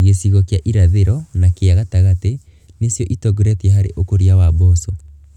Gĩcigo kĩa irathĩro na kĩa gatagatĩ nĩcio ĩtongoretie harĩ ũkũria wa mboco.